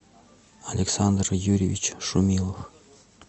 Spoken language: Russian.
александр юрьевич шумилов